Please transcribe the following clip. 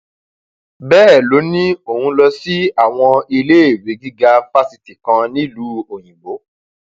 bẹẹ ló ní òun lọ sí àwọn iléèwé gíga fásitì kan nílùú òyìnbó